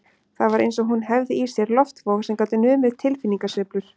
Það var eins og hún hefði í sér loftvog sem gat numið tilfinningasveiflur